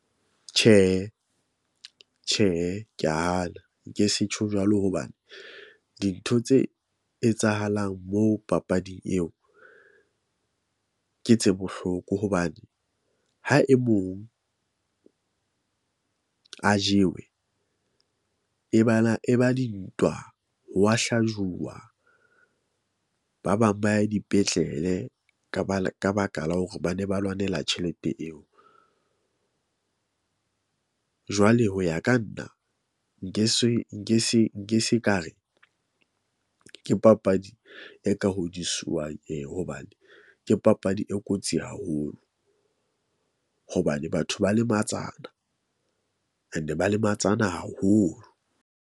Tjhehe, Tjhehe, ke ya hana nke se tjho jwalo hoba dintho tse etsahalang moo papading eo ke tse bohloko hobane ha e mong, a jewe e bana e ba dintwa hwa hlajuwa. Ba bang ba ya dipetlele ka ba ka baka la hore ba ne ba lwanela tjhelete eo . Jwale ho ya ka nna nke se nke se nke se ka re ke papadi e ka hodiswang eo, hobane ke papadi e kotsi haholo. Hobane batho ba lematsana and ba lematsana haholo.